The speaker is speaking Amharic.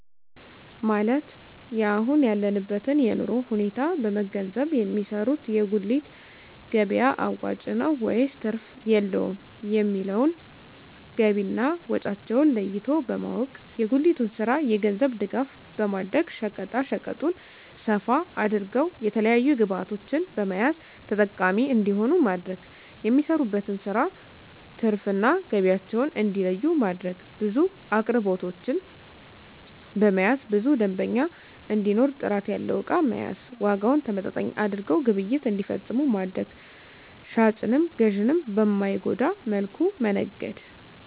ማለት የአሁን ያለበትን የኑሮ ሁኔታ በመንገዘብ የሚሰሩት የጉሊት ገቢያ አዋጭ ነው ወይስ ትርፍ የለውም የሚለውን ገቢና ወጫቸውን ለይቶ በማወቅ። የጉሊቱን ስራ የገንዘብ ድጋፍ በማድረግ ሸቀጣሸቀጡን ሰፋ አድርገው የተለያዪ ግብዕቶችን በመያዝ ተጠቃሚ እንዲሆኑ ማድረግ። የሚሰሩበትን ስራ ትርፍ እና ገቢያቸውን እንዲለዪ ማድረግ። ብዙ አቅርቦቶችን በመያዝ ብዙ ደንበኛ እንዲኖር ጥራት ያለው እቃ መያዝ። ዋጋውን ተመጣጣኝ አድርገው ግብይት እንዲፈፅሙ ማድረግ። ሻጭንም ገዢንም በማይጎዳ መልኩ መነገድ